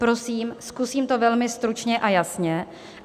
Prosím, zkusím to velmi stručně a jasně.